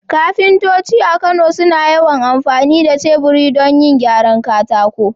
Kafintoci a Kano suna yawan amfani da teburi don yin gyaran katako.